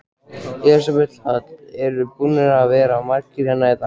Elísabet Hall: Eru búnir að vera margir hérna í dag?